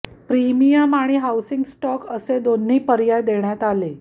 premium आणि housing stock असे दोन्ही पर्याय देण्यात आले